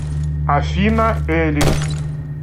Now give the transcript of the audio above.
афина элис